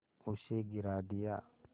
उसे गिरा दिया